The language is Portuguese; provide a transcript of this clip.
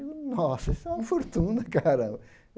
Digo, nossa, isso é uma fortuna, cara.